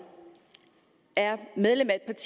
er medlem af et